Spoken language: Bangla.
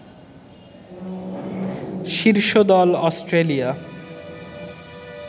শীর্ষ দল অস্ট্রেলিয়া